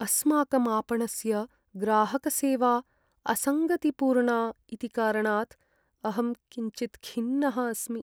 अस्माकम् आपणस्य ग्राहकसेवा असङ्गतिपूर्णा इति कारणात् अहं किञ्चित् खिन्नः अस्मि।